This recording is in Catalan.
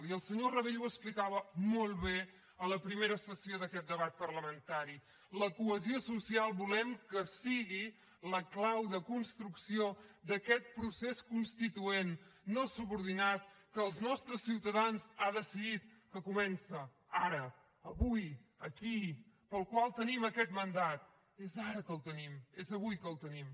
i el senyor rabell ho explicava molt bé a la primera sessió d’aquest debat parlamentari la cohesió social volem que sigui la clau de construcció d’aquest procés constituent no subordinat que els nostres ciutadans han decidit que comença ara avui aquí pel qual tenim aquest mandat és ara que el tenim és avui que el tenim